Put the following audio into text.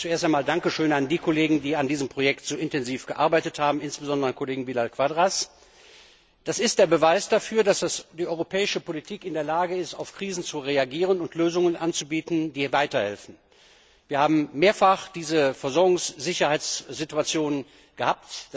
Zuerst einmal ein Dankeschön an die Kollegen, die an diesem Projekt so intensiv gearbeitet haben, insbesondere an den Kollegen Vidal Quadras. Das ist der Beweis dafür, dass die europäische Politik in der Lage ist, auf Krisen zu reagieren und Lösungen anzubieten, die weiterhelfen. Wir haben mehrfach diese Versorgungssicherheitssituationen gehabt.